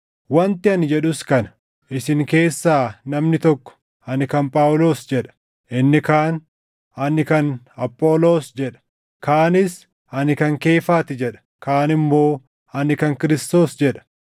Wanti ani jedhus kana: Isin keessaa namni tokko, “Ani kan Phaawulos” jedha; inni kaan, “Ani kan Apholoos” jedha; kaanis, “Ani kan Keefaa ti” jedha; kaan immoo, “Ani kan Kiristoos” jedha.